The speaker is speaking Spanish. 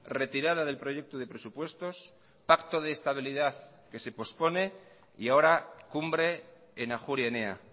retirada del proyecto de presupuestos pacto de estabilidad que se pospone y ahora cumbre en ajuria enea